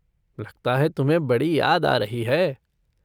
लगता है तुम्हें बड़ी याद आ रही है।